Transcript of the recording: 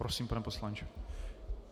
Prosím, pane poslanče.